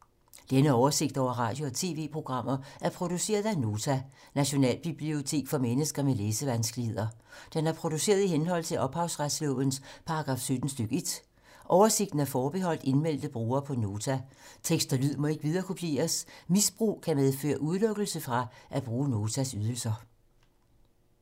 Denne oversigt over radio og TV-programmer er produceret af Nota, Nationalbibliotek for mennesker med læsevanskeligheder. Den er produceret i henhold til ophavsretslovens paragraf 17 stk. 1. Oversigten er forbeholdt indmeldte brugere på Nota. Tekst og lyd må ikke viderekopieres. Misbrug kan medføre udelukkelse fra at bruge Notas ydelser.